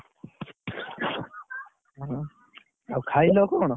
ହଁ, ଆଉ ଖାଇଲ କଣ?